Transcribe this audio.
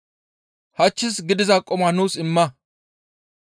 Hachchis gidiza quma nuus imma.